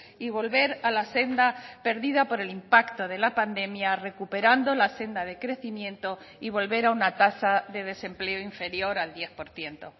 y volver a la senda perdida por el impacto de la pandemia recuperando la senda de crecimiento y volver a una tasa de desempleo inferior al diez por ciento